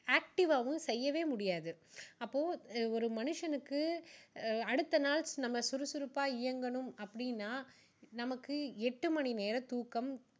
active வாவும் செய்யவே முடியாது அப்போ ஒரு மனுஷனுக்கு அடுத்த நாள் நம்ம சுறுசுறுப்பா இயங்கணும் அப்படின்னா நமக்கு எட்டு மணி நேரம் தூக்கம்